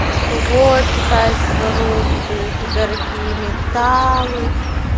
типа вот китайцы воруют ээ дорогие металлы